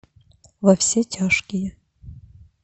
во все тяжкие